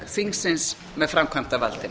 þingsins með framkvæmdarvaldinu